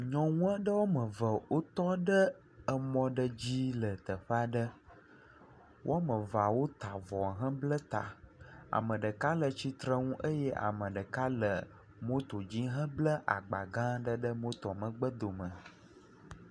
Nyɔnu aɖewo ame eve tɔɖe mɔ aɖe dzi le teƒe aɖe wo ame eve wota avɔ hebla ta ame ɖeka titrenu eye ame ɖeka le motoa dzi hebla agbã gã aɖe ɖe motoa ƒe megbedome